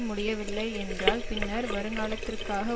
முடியவில்லை என்றால் பின்னர் வருங்காலத்திற்காக